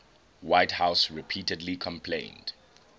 whitehouse repeatedly complained